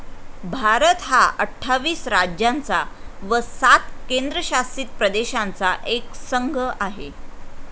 भारत हा अठ्ठावीस राज्यांचा व सात केंद्रशासित प्रदेशांचा एक संघ आहे.